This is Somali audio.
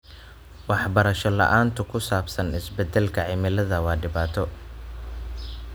Waxbarasho la'aanta ku saabsan isbedelka cimilada waa dhibaato.